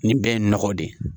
Nin bɛɛ ye nɔgɔ de ye